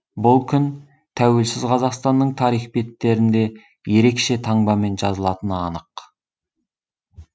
бұл күн тәуелсіз қазақстанның тарих беттерінде ерекше таңбамен жазылатыны анық